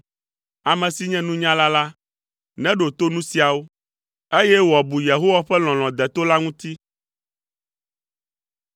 Ame si nye nunyala la, neɖo to nu siawo, eye wòabu Yehowa ƒe lɔlɔ̃ deto la ŋuti.